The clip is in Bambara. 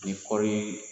Ni kɔɔri